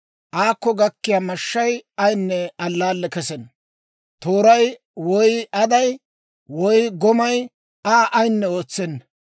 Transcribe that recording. Aakko gakkiyaa mashshay ayinne allaalle kessenna; tooray, woy aday, woy gomay Aa ayinne ootsenna.